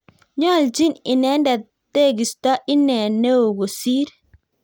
Nyoljin inendet teegesto ine neo kosir